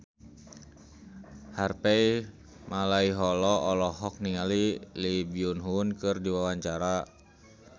Harvey Malaiholo olohok ningali Lee Byung Hun keur diwawancara